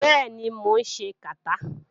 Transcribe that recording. Bẹ́ẹ̀ni, mò ń ṣe kàtá.